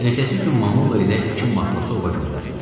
Ertəsi gün Mamulla ilə iki matrosu ova göndərdilər.